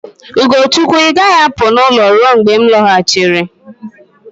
Ugochukwu, ị gaghị apụ n'ụlọ ruo mgbe m lọghachiri.